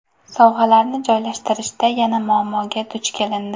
Sovg‘alarni joylashtirishda yana muammoga duch kelindi.